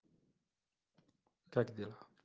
как дела